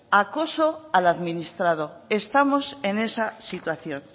acoso al administrado estamos en esa situación